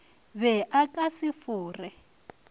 be a ka se fore